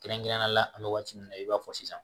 Kɛrɛnkɛrɛnnenya la an bɛ waati min na i b'a fɔ sisan